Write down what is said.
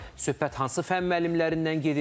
Söhbət hansı fənn müəllimlərindən gedir?